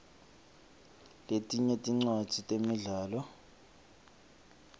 letinye tincwadzi temidlalo